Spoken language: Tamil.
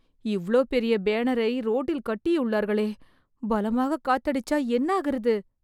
இவ்ளோ பெரிய பேனரை ரோட்டில் கட்டியுள்ளார்களே பலமாக காத்தடிச்சா என்னாகிறது